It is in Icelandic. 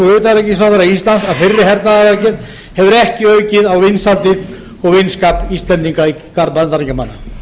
og utanríkisráðherra íslands að þeirri hernaðaraðgerð hefur ekki aukið á vinsældir og vinskap íslendinga í garð bandaríkjamanna ríkisstjórninni virtist koma